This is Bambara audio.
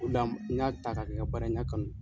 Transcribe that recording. n y'a ta ka kɛ ka baara ye n y'a kanu.